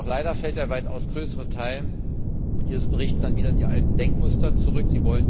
Doch leider fällt der weitaus größere Teil dieses Berichts dann wieder in die alten Denkmuster zurück.